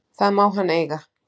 Það má hann eiga.